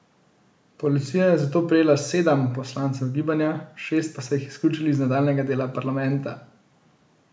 Policija je zato prijela sedam poslancev gibanja, šest pa so jih izključili iz nadaljnjega dela parlamenta.